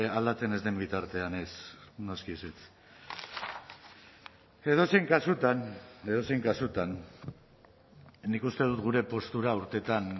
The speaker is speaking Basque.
aldatzen ez den bitartean ez noski ezetz edozein kasutan edozein kasutan nik uste dut gure postura urteetan